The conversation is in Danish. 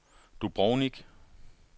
Dubrovnik